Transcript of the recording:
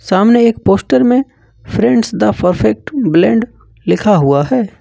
सामने एक पोस्टर में फ्रेंड्स द परफेक्ट ब्लेंड लिखा हुआ है।